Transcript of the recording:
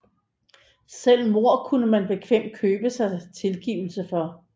Selv mord kunne man bekvemt købe sig tilgivelse for